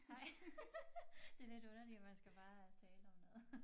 Hej det lidt underligt at man skal bare tale om noget